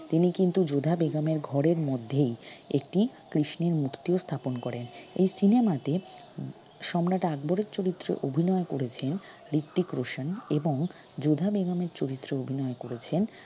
তিনি কিন্তু যোধা বেগমের ঘরের মধ্যেই একটি কৃষ্ণের মূর্তিও স্থাপন করেন এই cinema তে সম্রাট আকবরের চরিত্রে অভিনয় করেছেন হৃত্মিক রোশান এবং যোধা বেগমের চরিত্রে অভিনয় করেছেন